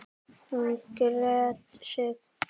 Hún gretti sig.